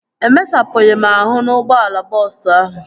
Emesapụghị m ahụ n'ụgbọala bọọsu ahụ